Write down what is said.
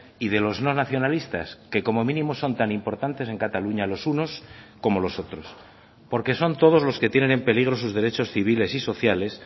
y de los no nacionalistas que como mínimo son tan importantes en cataluña los unos como los otros porque son todos los que tienen en peligros sus derechos civiles y sociales